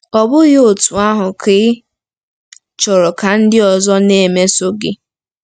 Ọ́ bụghị otú ahụ ka ị chọrọ ka ndị ọzọ na-emeso gị?